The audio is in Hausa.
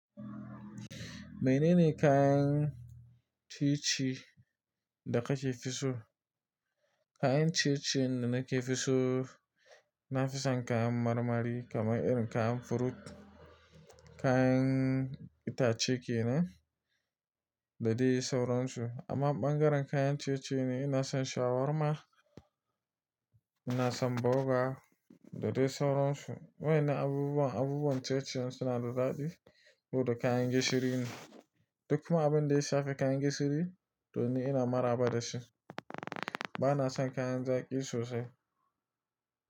Menene kayan ciye-ciye da kake fi so? Kayan ciye-ciye da nake fi so, na fi son kayan marmari kamar irin kayan fruit, kayan itace kenan da dai sauransu. Amma ɓangaren kayan ciye-ciye ne, ina son shawarma, ina son burger da dai sauransu. Wai'nnan abubuwan abubuwan ciye-ciye suna da daɗi ko da kayan gishiri ne. Duk kuma abin da ya shafi kayan gishiri, to ni ina maraba da shi. Ba na son kayan zaƙi sosai.